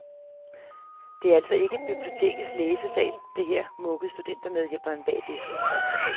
Det er altså ikke bibliotekets læsesal, det her, mukkede studentermedhjælpen bag disken.